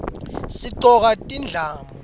sigcoka tindlamu